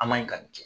An man ɲi ka nin kɛ